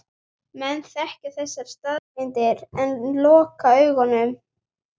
Menn þekkja þessar staðreyndir en loka augunum.